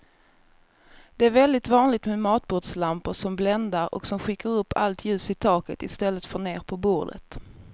Det är väldigt vanligt med matbordslampor som bländar och som skickar upp allt ljus i taket i stället för ner på bordet.